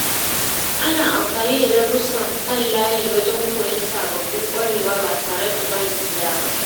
Ana amfani da darussan kan layi wajen koyon sababbin ƙwarewa ba tare da barin gida ba.